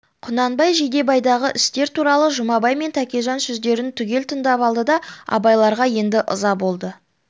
құнанбай жидебайдағы істер туралы жұмабай мен тәкежан сөздерін түгел тыңдап алды да абайларға енді ыза болды